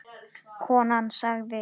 Konan sagði